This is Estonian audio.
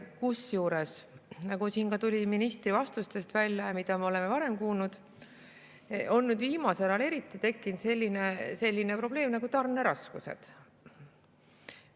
Kusjuures, nagu siin ka ministri vastustest välja tuli ja nagu me oleme varemgi kuulnud, viimasel ajal eriti on tekkinud selline probleem nagu tarneraskused.